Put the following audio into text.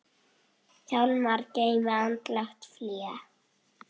Hjálmar geymir andlegt fé.